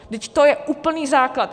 Vždyť to je úplný základ!